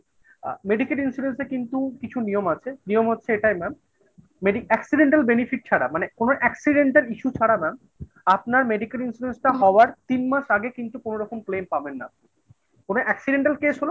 অ্যা medical insurance কিন্তু কিছু নিয়ম আছে। নিয়ম হচ্ছে এটাই ম্যাম accidental benefits ছাড়া মানে কোনো accidental issue ছাড়া mam আপনার medical insurance টা হওয়ার তিন মাস আগে কিন্তু কোনরকম claim পাবেন না কোনো accidental case হলে